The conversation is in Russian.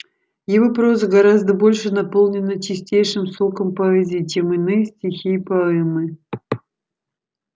его проза гораздо больше наполнена чистейшим соком поэзии чем иные стихи и поэмы